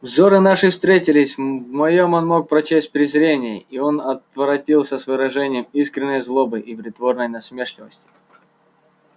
взоры наши встретились в моем он мог прочесть презрение и он отворотился с выражением искренней злобы и притворной насмешливости